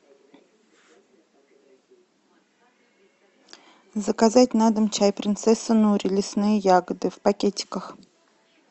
заказать на дом чай принцесса нури лесные ягоды в пакетиках